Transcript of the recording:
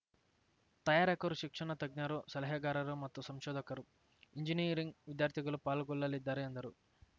ತಯಾರಕರು ಶಿಕ್ಷಣ ತಜ್ಞರು ಸಲಹೆಗಾರರು ಮತ್ತು ಸಂಶೋಧಕರು ಎಂಜಿನಿಯರಿಂಗ್‌ ವಿದ್ಯಾರ್ಥಿಗಳು ಪಾಲ್ಗೊಳ್ಳಲಿದ್ದಾರೆ ಎಂದರು